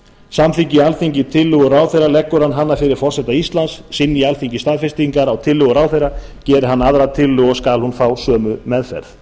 samþykki alþingi tillögu ráðherra leggur hann hana fyrir forseta íslands synji alþingi staðfestingar á tillögu ráðherra gerir hann aðra tillögu og skal hún fá sömu meðferð